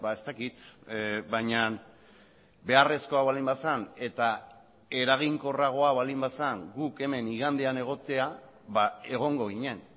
ez dakit baina beharrezkoa baldin bazen eta eraginkorragoa baldin bazen guk hemen igandean egotea egongo ginen